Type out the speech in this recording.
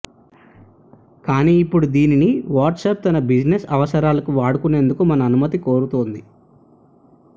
కానీ ఇప్పుడు దీనిని వాట్సాప్ తన బిజినెస్ అవసరాలకు వాడుకునేందుకు మన అనుమతి కోరుతోంది